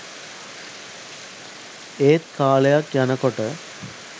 ඒත් කාලයක් යනකොට